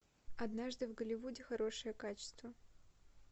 однажды в голливуде хорошее качество